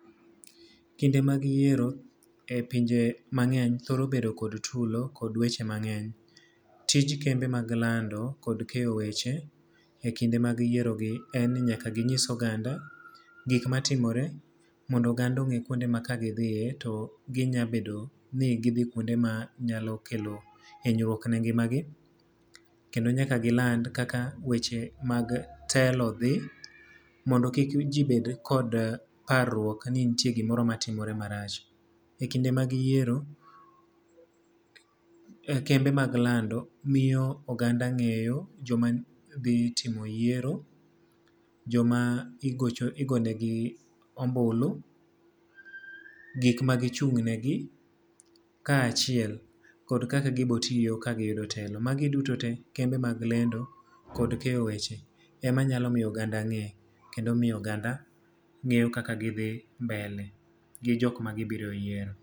Kinde mag yiero e pinje mangény thoro bedo kod tulo kod weche mangény. Tij kembe mag lando, kod keyo weche e kinde mag yiero gi en ni nyaka ginyis oganda gik matimore, mondo oganda ongé kuonde ma ka gidhiye, to ginya bedo ni gidhi kuonde ma nyakelo hinyruok ne ngimagi. Kendo nyaka giland kaka weche mag telo dhi, mondo kik ji bed kod parruok ni nitie gimoro matimore marach. E kinde mag yiero kembe mag lando miyo oganda ngéyo joma dhi timo yiero, joma igocho, igonegi ombulu, gik ma gichung'negi kaachiel kod kaka gibiro tiyo ka giyudo telo. Magi duto te kembe mag lendo kod keyo weche ema nyalo miyo oganda ngé, kendo miyo oganda ngéyo kaka gidhi mbele gi jok ma gibiro yiero.